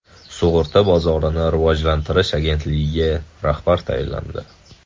Sug‘urta bozorini rivojlantirish agentligiga rahbar tayinlandi.